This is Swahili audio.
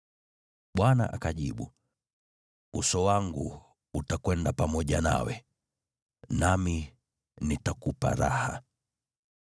Bwana akajibu, “Uso wangu utakwenda pamoja nawe, nami nitakupa raha.”